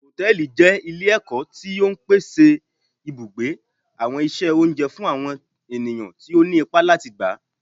Hòtẹ́ẹ̀lì jẹ ile-ẹkọ ti o ń pèsè ibugbe, awọn iṣẹ oúnjẹ fún àwọn ènìyàn tí òní ipá atí gbá.